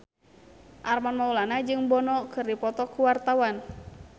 Armand Maulana jeung Bono keur dipoto ku wartawan